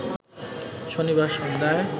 শনিবার সন্ধ্যায়